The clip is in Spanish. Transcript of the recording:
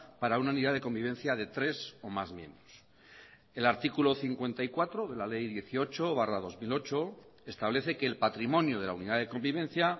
para una unidad de convivencia de tres o más miembros el artículo cincuenta y cuatro de la ley dieciocho barra dos mil ocho establece que el patrimonio de la unidad de convivencia